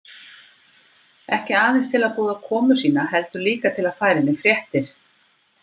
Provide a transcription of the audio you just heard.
Ekki aðeins til að boða komu sína heldur líka til að færa henni fréttir.